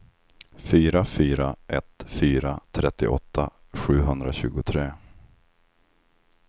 fyra fyra ett fyra trettioåtta sjuhundratjugotre